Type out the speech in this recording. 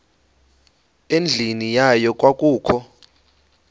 endlwini yayo kwakukho